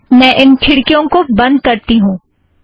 पहले मैं इन खिड़कियों को बंद करती हूँ